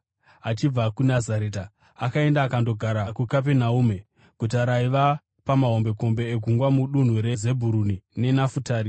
Achibva kuNazareta, akaenda akandogara kuKapenaume, guta raiva pamahombekombe egungwa mudunhu reZebhuruni neNafutari,